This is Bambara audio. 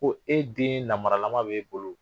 Ko e den namaralama b'e bolo